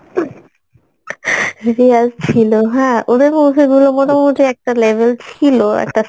রেয়াজ ছিলো হ্যাঁ ওদের movie গুলো মোটামুটি একটা level ছিলো একটা